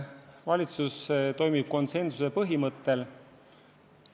Valitsus toimib konsensuse põhimõttel.